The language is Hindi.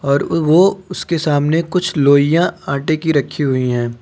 और वो उसके सामने कुछ लोइयां आटे की रखी हुई हैं।